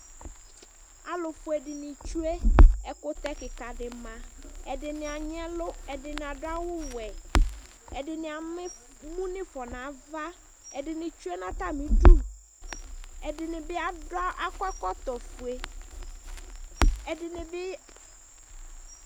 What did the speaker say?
alofue dini tsue ɛkutɛ keka di ma ɛdini anyi ɛlu ɛdini ado awu wɛ ɛdini ama emu n'ifɔ n'ava ɛdini tsue n'atami du ɛdini bi ado akɔ ɛkɔtɔ fue ɛdini bi